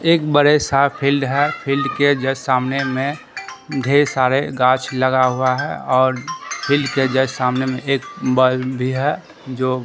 एक बड़े सा फील्ड है फील्ड के जस्ट सामने में ढेर सारे गाछ लगा हुआ है और फील्ड जस्ट सामने में एक बल्ब भी है जो--